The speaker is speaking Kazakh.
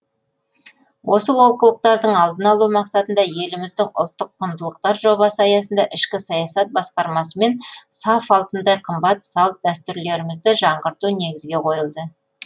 осы олқылықтардың алдын алу мақсатында еліміздің ұлттық құндылықтар жобасы аясында ішкі саясат басқармасымен саф алтындай қымбат салт дәстүрлерімізді жаңғырту негізге қойылды